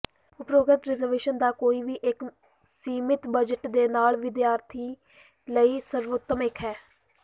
ਉਪਰੋਕਤ ਰਿਜ਼ਰਵੇਸ਼ਨ ਦਾ ਕੋਈ ਵੀ ਇੱਕ ਸੀਮਿਤ ਬਜਟ ਦੇ ਨਾਲ ਵਿਦਿਆਰਥੀ ਲਈ ਸਰਵੋਤਮ ਇੱਕ ਹੈ